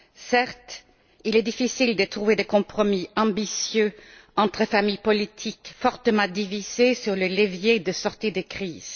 Certes, il est difficile de trouver des compromis ambitieux entre des familles politiques fortement divisées sur les leviers de sortie de crise.